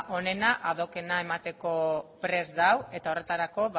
onena ad hoc ena emateko prest dago eta horretarako